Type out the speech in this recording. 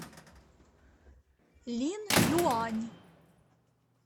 линъюань